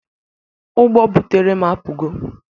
Ụgbo butere m apụgo.